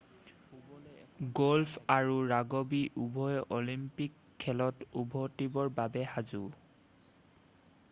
golf আৰু rugby উভয়ে Olympic খেলত উভতিবৰ বাবে সাজু